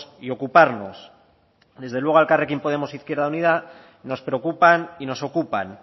y ocuparnos desde luego a elkarrekin podemos izquierda unida nos preocupan y nos ocupan